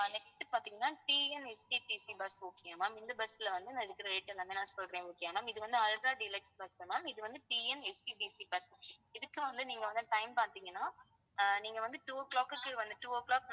ஆஹ் next பாத்தீங்கன்னா TNSETC bus okay யா ma'am இந்த bus ல வந்து நான் இருக்குற rate எல்லாமே நான் சொல்றேன் okay யா ma'am இது வந்து ultra deluxe bus ma'am இது வந்து TNSETC bus இதுக்கு வந்து நீங்க வந்து time பார்த்தீங்கன்னா ஆஹ் நீங்க வந்து two o'clock க்கு வந்து two o'clock